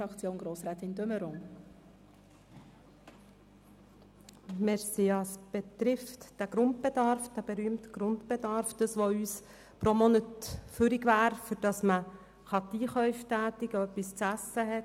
Dies betrifft den berühmten Grundbedarf, das, was pro Monat bleiben würde, um Einkäufe zu tätigen, damit man etwa zu essen hat.